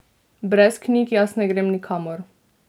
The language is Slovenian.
Brez knjig jaz ne grem nikamor!